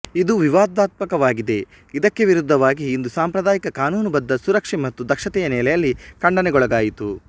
ಇದು ವಿವಾದಾತ್ಮಕವಾಗಿದೆ ಇದಕ್ಕೆ ವಿರುದ್ಧವಾಗಿ ಇದು ಸಾಂಪ್ರದಾಯಿಕ ಕಾನೂನುಬದ್ಧ ಸುರಕ್ಷೆ ಮತ್ತು ದಕ್ಷತೆಯ ನೆಲೆಯಲ್ಲಿ ಖಂಡನೆಗೊಳಗಾಯಿತು